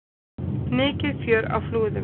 Mikið fjör á Flúðum